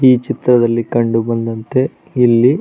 ಈ ಚಿತ್ರದಲ್ಲಿ ಕಂಡು ಬಂದಂತೆ ಇಲ್ಲಿ --